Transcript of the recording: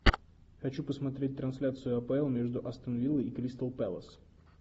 хочу посмотреть трансляцию апл между астон виллой и кристал пэлас